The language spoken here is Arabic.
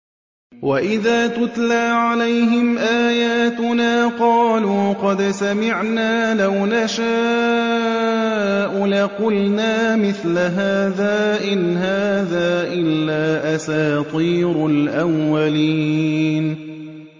وَإِذَا تُتْلَىٰ عَلَيْهِمْ آيَاتُنَا قَالُوا قَدْ سَمِعْنَا لَوْ نَشَاءُ لَقُلْنَا مِثْلَ هَٰذَا ۙ إِنْ هَٰذَا إِلَّا أَسَاطِيرُ الْأَوَّلِينَ